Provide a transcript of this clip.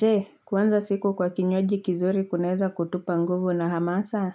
Jee kuanza siku kwa kinywaji kizuri kunaeza kutupa nguvu na hamasa?